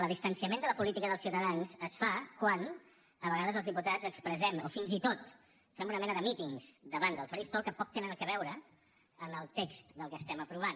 el distanciament de la política dels ciutadans es fa quan a vegades els diputats expressem o fins i tot fem una mena de mítings davant del faristol que poc tenen a veure amb el text del que estem aprovant